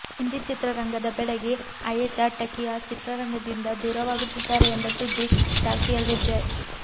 ಹಿಂದಿ ಚಿತ್ರರಂಗದ ಬೆಡಗಿ ಆಯೇಷಾ ಟಕಿಯಾ ಚಿತ್ರರಂಗದಿಂದ ದೂರವಾಗುತ್ತಿದ್ದಾರೆ ಎಂಬ ಸುದ್ದಿ ಚಾಲ್ತಿಯಲ್ಲಿದೆ